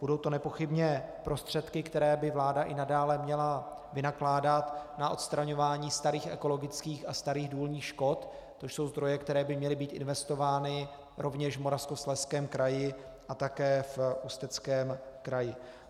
Budou to nepochybně prostředky, které by vláda i nadále měla vynakládat na odstraňování starých ekologických a starých důlních škod, což jsou zdroje, které by měly být investovány rovněž v Moravskoslezském kraji a také v Ústeckém kraji.